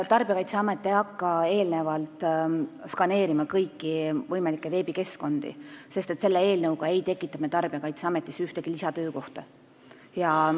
Tarbijakaitseamet ei hakka eelnevalt skaneerima kõiki võimalikke veebikeskkondi, sest selle eelnõuga ei tekita me Tarbijakaitseametis ühtegi lisatöökohta.